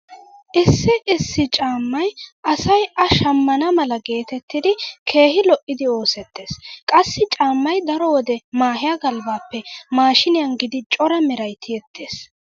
Issi issi caammay asay a shammana mala geetettidi keehi lo'idi oosettees. Qassi caammay daro wode mehiya galbbaappe maashiiniyan giidi cora meray tiyettees.